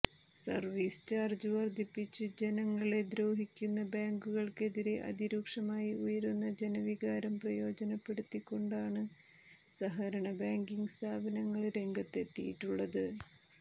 service charge വര്ധിപ്പിച്ച് ജനങ്ങളെ ദ്രോഹിക്കുന്ന ബാങ്കുകള്ക്കെതിരെ അതി രൂക്ഷമായി ഉയരുന്ന ജനവികാരം പ്രയോജനപ്പെടുത്തികൊണ്ടാണ് സഹകരണ ബാങ്കിങ്ങ് സ്ഥാപനങ്ങള് രംഗത്തെത്തിയിട്ടുള്ളത്